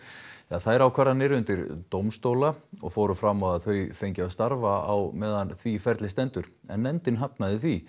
þær ákvarðanir undir dómstóla og fóru fram að þau fengju að starfa á meðan því ferli stendur en nefndin hafnaði því